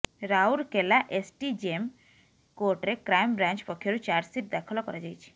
Rourkela SDJM କୋର୍ଟରେ crime branch ପକ୍ଷରୁ chargesheet ଦାଖଲ କରାଯାଇଛି